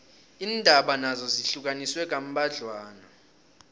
iindawo nazo zihlukaniswe kambadlwana